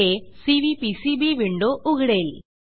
हे CVPCB window उघडेल